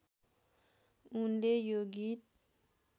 उनले यो गीत